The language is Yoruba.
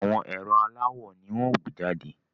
Àwọn ẹ̀rọ aláwò ni wọ́n ó gbé jàde